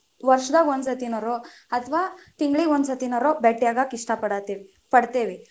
ವರ್ಷದಾಗ ಒಂದ ಸರ್ತಿನಾರೊ, ಅಥವಾ ತಿಂಗಳಿಗೆ ಒಂದ ಸತಿನಾರೊ ಭೆಟ್ಟಿ ಆಗಾಕ ಇಷ್ಟ ಪಡಾತೀವ್ ಪಡತೇವಿ.